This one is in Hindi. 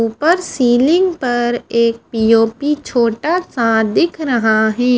ऊपर सीलिंग पर एक पो_ओ_पी छोटा सा दिख रहा है।